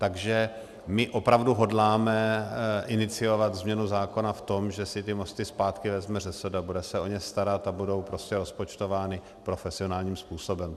Takže my opravdu hodláme iniciovat změnu zákona v tom, že si ty mosty zpátky vezme ŘSD a bude se o ně starat a budou prostě rozpočtovány profesionálním způsobem.